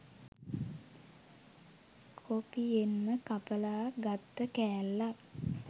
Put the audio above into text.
කොපියෙන්ම කපලා ගත්ත කෑල්ලක්.